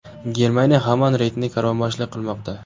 Germaniya hamon reytingda karvonboshilik qilmoqda.